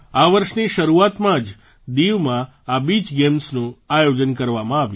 આ વર્ષની શરૂઆતમાં જ દીવમાં આ બીચ ગેમ્સનું આયોજન કરવામાં આવ્યું